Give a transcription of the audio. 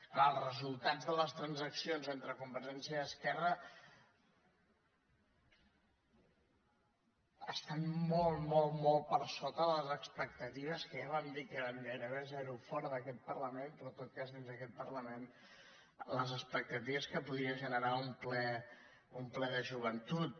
clar els resultats de les transaccions entre convergència i esquerra estan molt molt molt per sota de les expectatives que ja vam dir que eren gairebé zero fora d’aquest parlament però en tot cas dins d’aquest parlament les expectatives que podia generar un ple de joventut